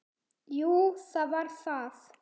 Jú, það var það.